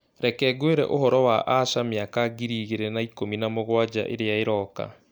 Reke ngwĩre ũhoro wa asha mĩaka ngiri igĩrĩ na ikũmi na mũgwanja ĩrĩa ĩroka.